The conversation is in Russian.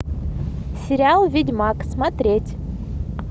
сериал ведьмак смотреть